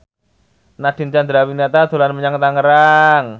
Nadine Chandrawinata dolan menyang Tangerang